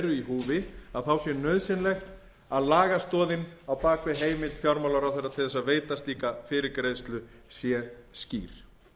eru í húfi sé nauðsynlegt að lagastoðin á bak við heimild fjármálaráðherra til þess að veita slíka fyrirgreiðslu sé skýr